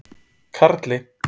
Karli